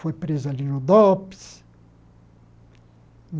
Foi preso ali no Dops.